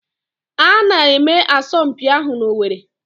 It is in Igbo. A na-eme asọmpi ahụ n'Owerri